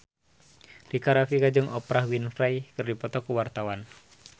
Rika Rafika jeung Oprah Winfrey keur dipoto ku wartawan